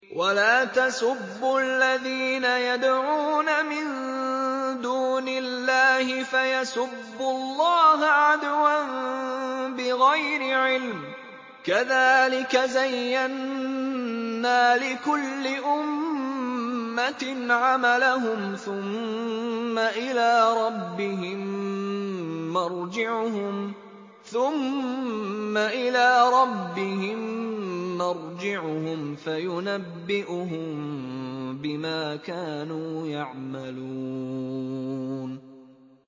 وَلَا تَسُبُّوا الَّذِينَ يَدْعُونَ مِن دُونِ اللَّهِ فَيَسُبُّوا اللَّهَ عَدْوًا بِغَيْرِ عِلْمٍ ۗ كَذَٰلِكَ زَيَّنَّا لِكُلِّ أُمَّةٍ عَمَلَهُمْ ثُمَّ إِلَىٰ رَبِّهِم مَّرْجِعُهُمْ فَيُنَبِّئُهُم بِمَا كَانُوا يَعْمَلُونَ